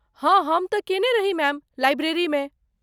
हँ हम तँ केने रही मैम, लाइब्रेरीमे।